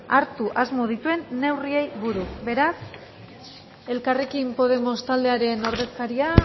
hartu asmo dituen neurriei buruz beraz elkarrekin podemos taldearen ordezkaria